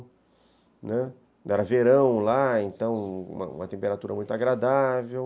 Era verão lá, então uma temperatura muito agradável.